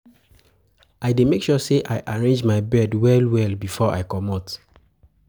I dey make sure sey I arrange my bed well-well before I comot.